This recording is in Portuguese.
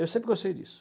Eu sempre gostei disso.